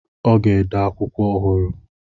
Ọ ga-ede akwụkwọ ọhụrụ.